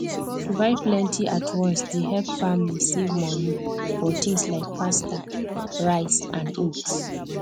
to buy plenty at once dey help family save money for things like pasta rice and oats